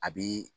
A bɛ